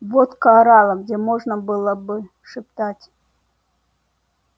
водка орала где можно было бы шептать